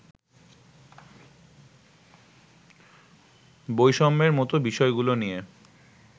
বৈষম্যের মতো বিষয়গুলো নিয়ে